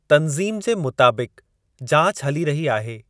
तंज़ीम जे मुताबिक़, जाच हली रही आहे।